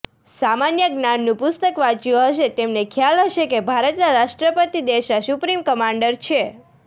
સામાન્ય જ્ઞાનનું પુસ્તક વાંચ્યું હશે તેમને ખ્યાલ હશે કે ભારતના રાષ્ટ્રપતિ દેશના સુપ્રીમ કમાન્ડર છે